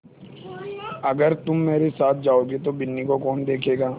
अगर तुम मेरे साथ जाओगे तो बिन्नी को कौन देखेगा